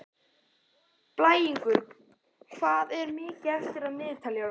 Blængur, hvað er mikið eftir af niðurteljaranum?